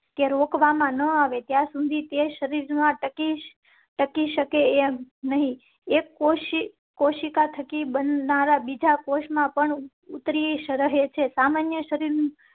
તે રોકવા માં ન આવે ત્યાં સુધી તે શરીર માં ટકી શકે નહીં. એક કોશિકા બનનારાં બીજા કોષ માં પણ ઉતારીશ રહે છે. સામાન્ય શરીર